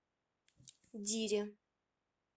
дире